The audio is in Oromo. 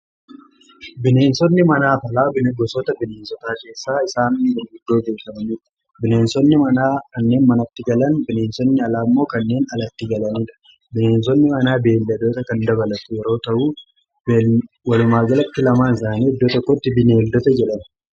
Bineensonni manaa fi alaa gosoota bineensotaa keessaa isaan gurguddoodha. Bineensonni manaa kanneen manatti galan, bineensonni alaa immoo kanneen alatti galaniidha. Bineensonni manaa beelladoota kan dabalatu yeroo ta'u walumaa galatti lamaa isaanii iddoo tokkotti bineeldota jedhamu